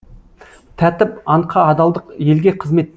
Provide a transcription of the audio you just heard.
тәртіп антқа адалдық елге қызмет